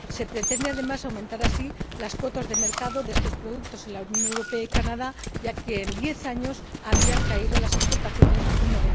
Se pretende, además, aumentar así las cuotas de mercado de estos productos en los Estados Unidos y Canadá, ya que en diez años habían caído las exportaciones un